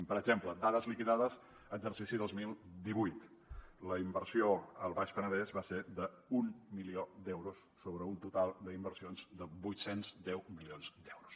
per exemple dades liquidades exercici dos mil divuit la inversió al baix penedès va ser d’un milió d’euros sobre un total d’inversions de vuit cents i deu milions d’euros